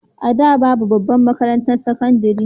A da babu babbar makarantar sakandare